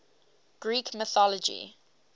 greek mythology